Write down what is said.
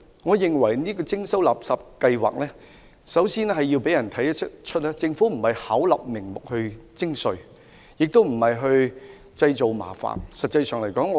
我認為，垃圾徵費計劃首先要讓市民明白，政府不是巧立名目徵稅，亦不是製造麻煩。